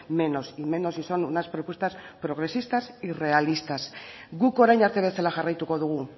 menos y menos si son unas propuestas progresistas y realistas guk orain arte bezala jarraituko dugu